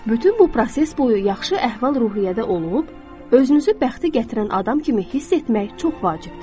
Bütün bu proses boyu yaxşı əhval-ruhiyyədə olub, özünüzü bəxti gətirən adam kimi hiss etmək çox vacibdir.